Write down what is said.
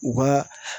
U ka